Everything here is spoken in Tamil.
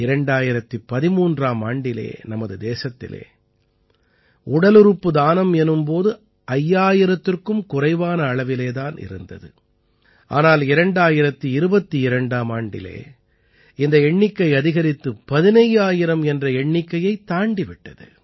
2013ஆம் ஆண்டிலே நமது தேசத்திலே உடலுறுப்பு தானம் எனும் போது 5000த்திற்கும் குறைவான அளவிலே தான் இருந்தது ஆனால் 2022ஆம் ஆண்டிலே இந்த எண்ணிக்கை அதிகரித்து 15000 என்ற எண்ணிக்கையைத் தாண்டி விட்டது